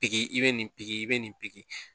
Piki i bɛ nin pikiri i bɛ nin pikiri